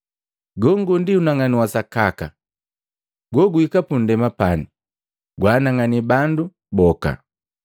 Gongo ndi unang'anu wa sakaka, goguhika pundema pani, kwaanang'anii bandu boka.